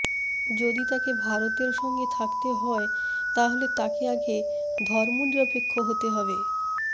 যদি তাকে ভারতের সঙ্গে থাকতে হয় তাহলে তাকে আগে ধর্মনিরপেক্ষ হতে হবে